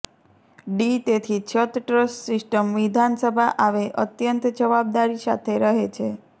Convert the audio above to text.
D તેથી છત truss system વિધાનસભા આવે અત્યંત જવાબદારી સાથે રહે છે